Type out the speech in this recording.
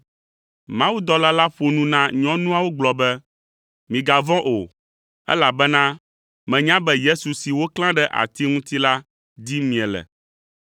Mawudɔla la ƒo nu na nyɔnuawo gblɔ be, “Migavɔ̃ o, elabena menya be Yesu si woklã ɖe ati ŋuti la dim miele,